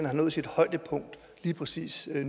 har nået sit højdepunkt lige præcis